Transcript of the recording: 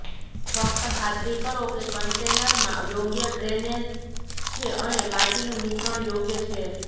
ફક્ત ખાતરી કરો કે કન્ટેનરમાં યોગ્ય ડ્રેનેજ છે અને માટીનું મિશ્રણ યોગ્ય છે